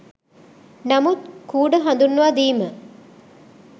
නමුත් කූඩ හඳුන්වාදීම